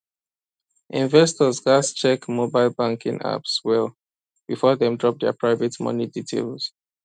investors gats check mobile banking apps well before dem drop their private money details